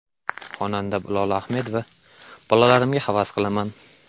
Xonanda Lola Ahmedova: Bolalarimga havas qilaman.